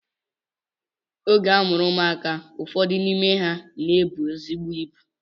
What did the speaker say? Oge a mụrụ ụmụaka, ụfọdụ n'ime ha na-ebu ezigbo ibu